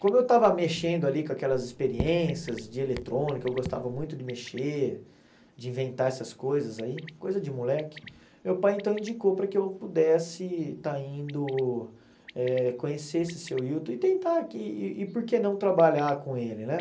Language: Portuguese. Como eu estava mexendo ali com aquelas experiências de eletrônica, eu gostava muito de mexer, de inventar essas coisas aí, coisa de moleque, meu pai então indicou para que eu pudesse estar indo eh conhecer esse seu Hilton e tentar que, e por que não trabalhar com ele, né?